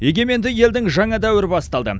егеменді елдің жаңа дәуірі басталды